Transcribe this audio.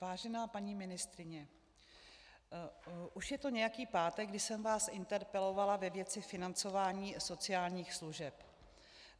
Vážená paní ministryně, už je to nějaký pátek, kdy jsem vás interpelovala ve věci financování sociálních služeb.